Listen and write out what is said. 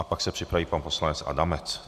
A pak se připraví pan poslanec Adamec.